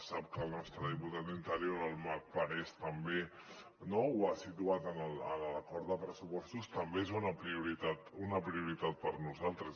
sap que el nostre diputat d’interior el marc parés també ho ha situat en l’acord de pressupostos també és una prioritat per a nosaltres